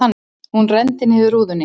Hún renndi niður rúðunni.